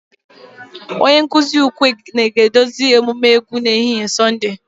Onye nkuzi ukwe ga-eduzi emume egwu n'ehihie Sọnde